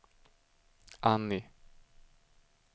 Annie